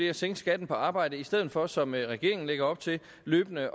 at sænke skatten på arbejde i stedet for som regeringen lægger op til løbende